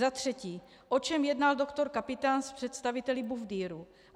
Za třetí: O čem jednal doktor Kapitán s představiteli Bufdiru?